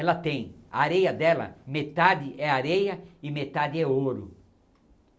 Ela tem, a areia dela, metade é areia e metade é ouro.